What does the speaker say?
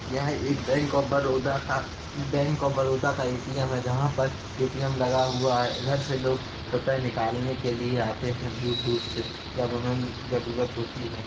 यह एक bank of Baroda का बैंक ऑफ बड़ौदा का ए_टी_एम है जहां पर ए_टी_एम लगा हुआ है। इधर से लोग रुपए निकालने के लिए आते हैं दूर-दूर से जब उन्हें ज़रूरत होती है।